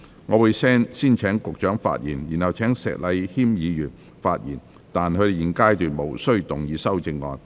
我會先請局長發言，然後請石禮謙議員發言，但他們在現階段無須動議修正案。